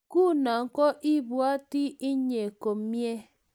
nguno ko ibwati ine komnyei